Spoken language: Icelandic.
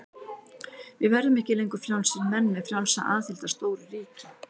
Við verðum ekki lengur frjálsir menn með frjálsa aðild að stóru ríki.